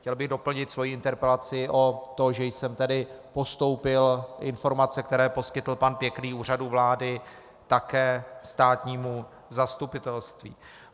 Chtěl bych doplnit svoji interpelaci o to, že jsem tedy postoupil informace, které poskytl pan Pěkný Úřadu vlády, také státnímu zastupitelství.